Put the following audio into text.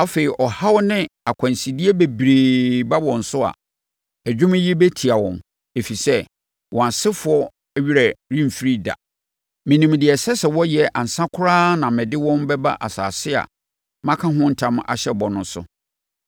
Afei, ɔhaw ne akwansideɛ bebree ba wɔn so a, ɛdwom yi bɛtia wɔn, ɛfiri sɛ, wɔn asefoɔ werɛ remfiri da. Menim deɛ ɛsɛ sɛ wɔyɛ ansa koraa na mede wɔn bɛba asase a maka ho ntam ahyɛ bɔ no so.”